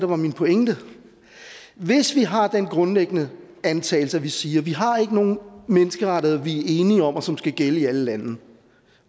var min pointe hvis vi har den grundlæggende antagelse og vi siger vi har ikke nogen menneskerettigheder vi er enige om og som skal gælde i alle lande